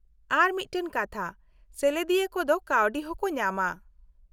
-ᱟᱨ ᱢᱤᱫᱴᱟᱝ ᱠᱟᱛᱷᱟ, ᱥᱮᱞᱮᱫᱤᱭᱟᱹ ᱠᱚᱫᱚ ᱠᱟᱹᱣᱰᱤ ᱦᱚᱸᱠᱚ ᱧᱟᱢᱟ ᱾